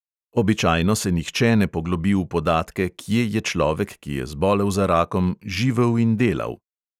Običajno se nihče ne poglobi v podatke, kje je človek, ki je zbolel za rakom, živel in delal.